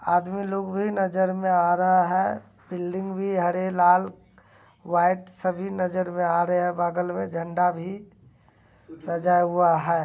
आदमी लोग भी नजर में आ रहा है। बिल्डिंग भी हरे लाल व्हाइट सभी नजर हुआ आ रहे हैं। बगल में झण्डा भी सजा हुआ है।